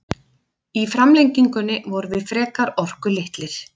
Í framlengingunni vorum við frekar orkulitlir.